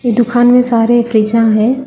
दुकान में सारे फ्रिजर है।